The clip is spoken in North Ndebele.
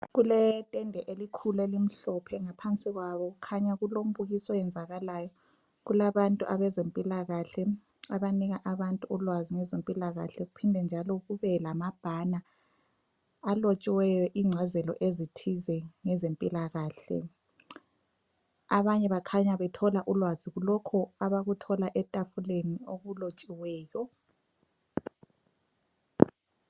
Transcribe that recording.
Kuletende elikhulu elimhlophe, ngaphansi kwalo kukhanya kulombukiso oyenzakalayo, kulabantu abezempilakahle abanika abantu ulwazi ngezempilakahle kuphinde njalo kube lamabhana alotshiweyo incazelo ezithize ngezempilakahle .Abanye kukhanya bethole ulwazi kulokho abakuthola etafuleni okulotshiweyo.